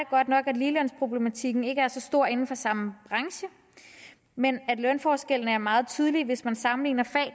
godt nok at ligelønsproblematikken ikke er så stor inden for samme branche men at lønforskellene er meget tydelige hvis man sammenligner fag